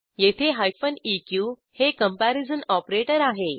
येथे eq हे comparison operator आहे